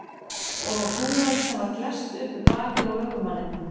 Og á hrúgald sem var klesst upp við bakið á ökumanninum.